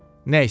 Nəysə.